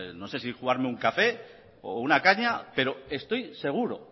no sé si jugarme un café o una caña pero estoy seguro